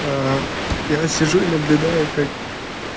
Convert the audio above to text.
я сижу и наблюдаю как